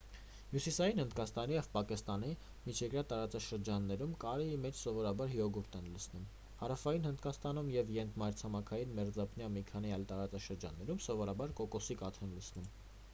հյուսիսային հնդկաստանի և պակիստանի միջերկրյա տարածաշրջաններում կարրիի մեջ սովորաբար յոգուրտ են լցնում հարավային հնդկաստանում և ենթամայրցամաքի մերձափնյա մի քանի այլ տարածաշրջաններում սովորաբար կոկոսի կաթ են լցնում